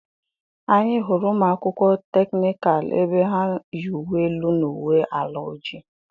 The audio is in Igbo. Anyị hụrụ ụmụ akwụkwọ teknikal ebe ha ya uwe elu na uwe ala ojii.